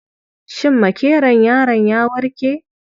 Shin makeron yaron ya warke?